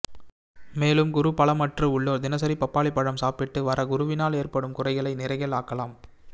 மேலும் குரு பலம் அற்று உள்ளோர் தினசரி பப்பாளி பழம் சாப்பிட்டு வர குருவினால் ஏற்படும் குறைகளை நிறைகள் ஆக்கலாம்